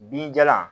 Binjalan